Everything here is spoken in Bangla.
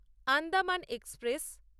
আন্দামান এক্সপ্রেস